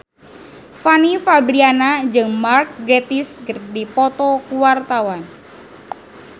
Fanny Fabriana jeung Mark Gatiss keur dipoto ku wartawan